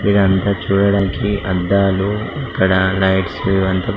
ఇదంతా చూడటానికి అందాలు లైట్స్ అంత--